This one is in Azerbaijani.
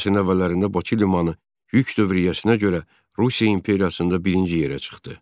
20-ci əsrin əvvəllərində Bakı limanı yük dövriyyəsinə görə Rusiya imperiyasında birinci yerə çıxdı.